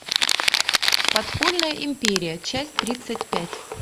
подпольная империя часть тридцать пять